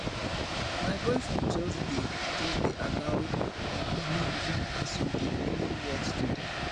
my boyfriend just dey just dey allow um me win as we dey play whot today